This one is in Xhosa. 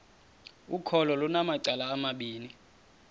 ukholo lunamacala amabini